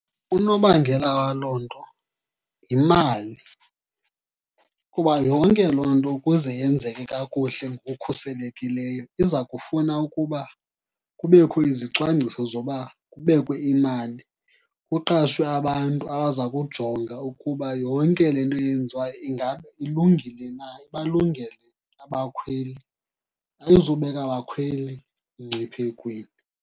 Unobangela waloo nto yimali. Kuba yonke loo nto ukuze yenzeke kakuhle ngokukhuselekileyo iza kufuna ukuba kubekho izicwangciso zoba kubekwe imali, kuqashwe abantu abaza kujonga ukuba yonke le nto yenziwayo ingaba ilungile na, ibalungele abakhweli, ayizubeka bakhweli mngciphekweni.